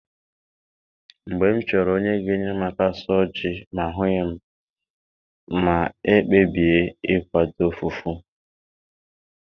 Mgbe m chọrọ onye ga enyere m aka suo ji ma ahughi m, ma ekpebie ikwado fufu